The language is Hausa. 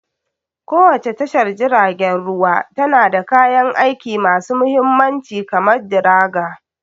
Kowace tashar jiragen ruwa tana da kayan aiki masu mahimmanci kamar dragger.